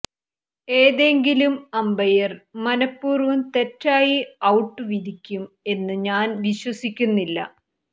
ഏതെങ്കിലും അമ്പയര് മനപൂര്വം തെയാറ്റി ഔട്ട് വിധിക്കും എന്ന് ഞാന് വിശ്വസിക്കുന്നില്ല